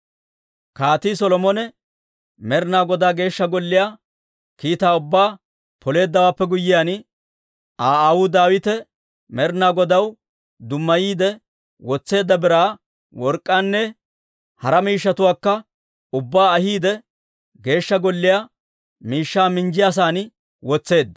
Kaatii Solomone Med'inaa Godaa Geeshsha Golliyaa kiitaa ubbaa Poleeddawaappe guyyiyaan, Aa aawuu Daawite Med'inaa Godaw dummayiide wotseedda biraa, work'k'aanne hara miishshatuwaakka ubbaa ahiidde, Geeshsha Golliyaa miishshaa minjjiyaasan wotseedda.